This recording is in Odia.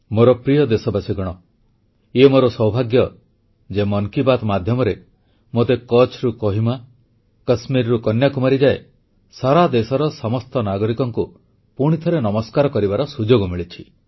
ମୋର ପ୍ରିୟ ଦେଶବାସୀଗଣ ଏହା ମୋର ସୌଭାଗ୍ୟ ଯେ ମନ୍ କି ବାତ୍ ମାଧ୍ୟମରେ ମୋତେ କଚ୍ଛରୁ କୋହିମା କଶ୍ମୀରରୁ କନ୍ୟାକୁମାରୀ ଯାଏ ସାରା ଦେଶର ସମସ୍ତ ନାଗରିକଙ୍କୁ ପୁଣିଥରେ ନମସ୍କାର କରିବାର ସୁଯୋଗ ମିଳିଛି